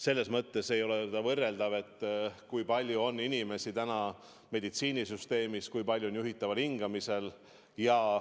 Selles mõttes ei ole võrreldavad, kui palju on praegu inimesi meditsiinisüsteemis, kui palju on juhitaval hingamisel.